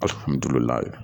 Alihamudulila